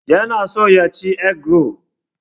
Yana so ya ci egg roll.